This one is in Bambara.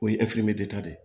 O ye ta de ye